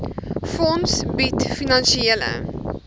fonds bied finansiële